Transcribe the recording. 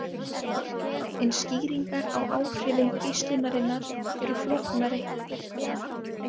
En skýringar á áhrifum geislunarinnar eru flóknari.